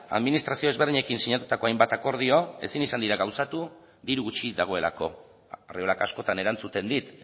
administrazio ezberdinekin sinatutako hainbat akordio ezin izan dira gauzatu diru gutxi dagoelako arriolak askotan erantzuten dit